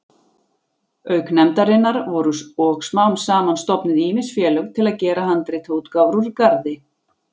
Auk nefndarinnar voru og smám saman stofnuð ýmis félög til að gera handritaútgáfur úr garði.